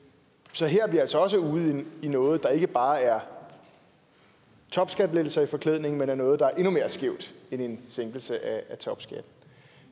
så her er vi altså også ude i noget der ikke bare er topskattelettelser i forklædning men noget der er endnu mere skævt end en sænkelse af topskatten